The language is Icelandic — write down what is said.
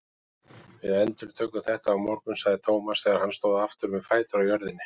Við endurtökum þetta á morgun sagði Thomas þegar hann stóð aftur með fætur á jörðinni.